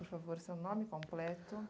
por favor, seu nome completo?